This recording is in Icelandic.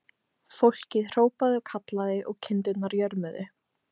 Fólkið hrópaði og kallaði og kindurnar jörmuðu.